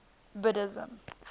buddhism